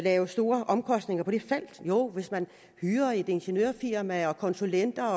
have store omkostninger på det felt jo hvis man hyrer et ingeniørfirma og konsulenter